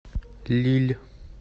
лилль